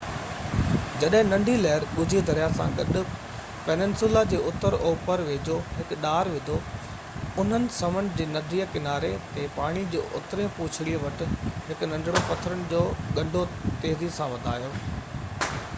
جڏهن ننڍي لهر ڳجهي دريا سان گڏ پيننسولا جي اتر اوپر ويجهو هڪ ڏار وڌو انهن سمنڊ جي ننڍي ڪناري تي پاڻي جو اترئين پوڇڙي وٽ هڪ ننڍڙن پٿرن جو ڳنڍو تيزي سان وڌايو